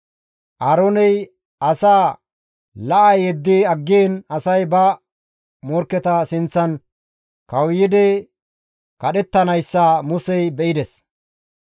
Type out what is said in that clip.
Aarooney asaa la7a yeddi aggiin asay ba morkketa sinththan kawuyidi kadhettanayssa Musey be7ides.